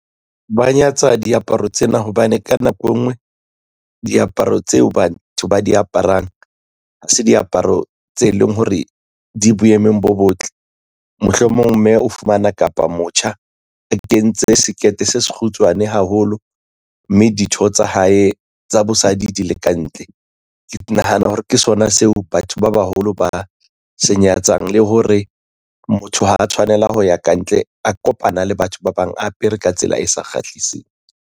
Ba nyatsa diaparo tsena hobane ka nako engwe diaparo tseo batho ba di aparang ha se diaparo tse leng hore di boemong bo botle. Mohlomong mme o fumana kapa motjha a kentse skirt se se kgutshwane haholo mme ditho tsa hae tsa bosadi di le kantle ke nahana hore ke sona seo batho ba baholo ba se nyatsang le hore motho ha a tshwanela ho ya kantle a kopana le batho ba bang apere ka tsela e sa kgahliseng.